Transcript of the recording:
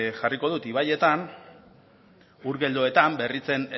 jarriko dut ibaietan ur geldoetan berritzen